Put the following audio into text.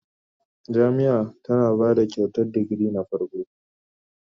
Jami'ia tana ba Kyautar digiri na farko